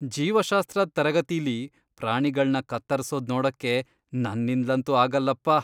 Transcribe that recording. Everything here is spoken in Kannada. ಜೀವಶಾಸ್ತ್ರದ್ ತರಗತಿಲಿ ಪ್ರಾಣಿಗಳ್ನ ಕತ್ತರ್ಸೋದ್ ನೋಡಕ್ಕೆ ನನ್ನಿಂದ್ಲಂತೂ ಆಗಲ್ಲಪ್ಪ.